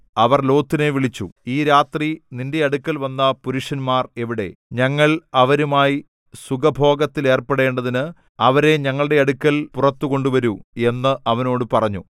അവർ ലോത്തിനെ വിളിച്ചു ഈ രാത്രി നിന്റെ അടുക്കൽ വന്ന പുരുഷന്മാർ എവിടെ ഞങ്ങൾ അവരുമായി സുഖഭോഗത്തിലേർപ്പെടേണ്ടതിന് അവരെ ഞങ്ങളുടെ അടുക്കൽ പുറത്തു കൊണ്ടുവരൂ എന്ന് അവനോട് പറഞ്ഞു